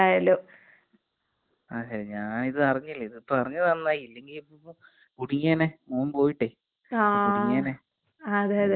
അതെ ഞാനിപ്പൊ ഇത് അറിഞ്ഞില്ലേ ഇതിപ്പൊ അറിഞ്ഞത് നന്നായി. ഇല്ലെങ്കി ഇപ്പോ കുടുങ്ങിയേനെ. മോൻ പോയിട്ട് കുടുങ്ങിയേനെ. അറിഞ്ഞത് നന്നായി വളരേ നന്നായി.